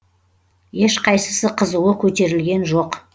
ешқайсысы қызуы көтерілген жоқ